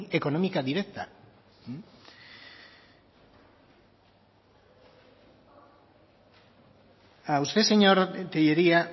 económica directa usted señor tellería